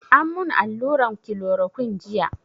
An mun allurar kilorokun jiya